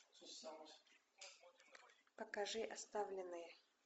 покажи оставленные